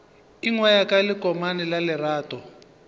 ingwaya ka lekomane la lerato